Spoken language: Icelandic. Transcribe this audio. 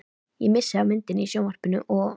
Ég missi af myndinni í sjónvarpinu og.